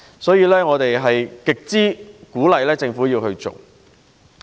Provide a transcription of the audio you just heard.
因此，我們很鼓勵政府利用工廈。